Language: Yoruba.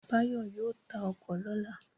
Báyọ̀ yóò ta ọkọ̀ lọ́la